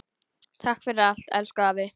Takk fyrir allt, elsku afi.